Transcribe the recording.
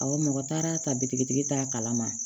Awɔ mɔgɔ taara ta bitikitigi t'a kalama